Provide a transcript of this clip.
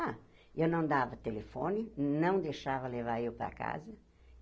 Ah, eu não dava telefone, não deixava levar eu para casa.